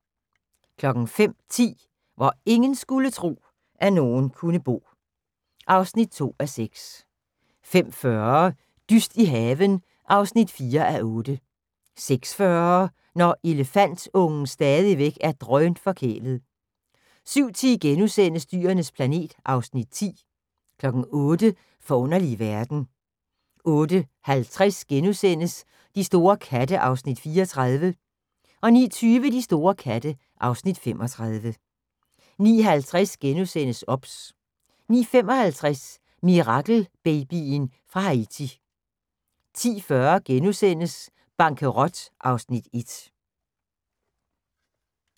05:10: Hvor ingen skulle tro, at nogen kunne bo (2:6) 05:40: Dyst i haven (4:8) 06:40: Når elefantungen stadigvæk er drønforkælet 07:10: Dyrenes planet (Afs. 10)* 08:00: Forunderlige verden 08:50: De store katte (Afs. 34)* 09:20: De store katte (Afs. 35) 09:50: OBS * 09:55: Mirakelbabyen fra Haiti 10:40: Bankerot (Afs. 1)*